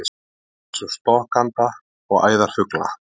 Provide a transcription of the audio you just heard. Eins og stokkanda og æðarfugla?